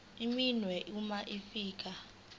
iminwe uma ufika